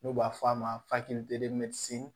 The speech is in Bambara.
N'u b'a fɔ a ma